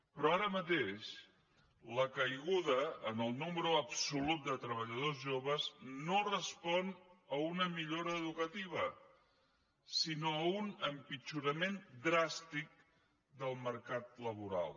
però ara mateix la caiguda en el nombre absolut de treballadors joves no respon a una millora educativa sinó a un empitjorament dràstic del mercat laboral